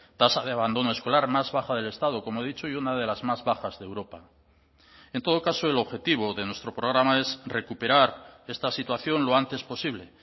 tasa de abandono escolar más baja del estado como he dicho y una de las más bajas de europa en todo caso el objetivo de nuestro programa es recuperar esta situación lo antes posible